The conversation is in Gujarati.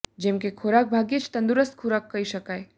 જેમ કે ખોરાક ભાગ્યે જ તંદુરસ્ત ખોરાક કહી શકાય